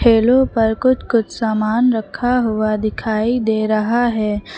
ठेलों पर कुछ कुछ सामान रखा हुआ दिखाई दे रहा है।